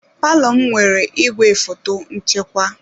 Palọ m nwere igwefoto nchekwa.